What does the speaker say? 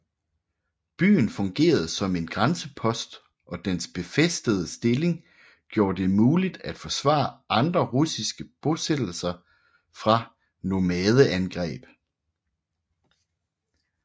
Byen fungerede som en grænsepost og dens befæstede stilling gjorde det muligt at forsvare andre russiske bosættelser fra nomadeangreb